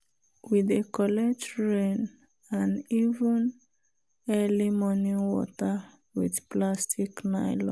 we dey collect rain and even early morning water with plastic nylon.